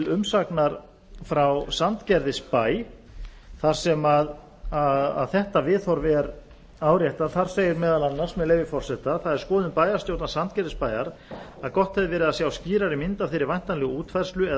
umsagnar frá sandgerðisbæ þar sem þetta viðhorf er áréttað þar segir meðal annars með leyfi forseta það er skoðun bæjarstjórnar sandgerðisbæjar að gott hefði verið að sjá skýrari mynd af þeirri væntanlegu útfærslu eða